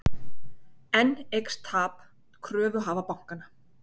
Enn eykst tap kröfuhafa bankanna